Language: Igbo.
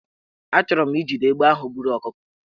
Achọrọ m ijide egbe ahụ buru ọkụkọ